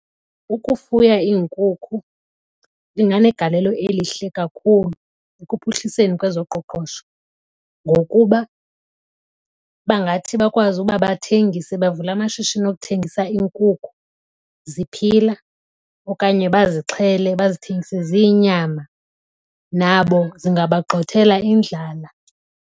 Ukufuya iinkukhu inganegalelo elihle kakhulu ekuphuhliseni kwezoqoqosho ngokuba bangathi bakwazi ukuba bathengise bavule amashishini okuthengisa iinkukhu ziphila okanye bazixhele bazithengise ziyinyama. Nabo zingaba gxothela indlala.